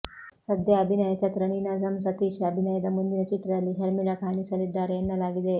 ಸದ್ಯ ಅಭಿನಯ ಚತುರ ನೀನಾಸಂ ಸತೀಶ್ ಅಭಿನಯದ ಮುಂದಿನ ಚಿತ್ರದಲ್ಲಿ ಶರ್ಮಿಳಾ ಕಾಣಿಸಲಿದ್ದಾರೆ ಎನ್ನಲಾಗಿದೆ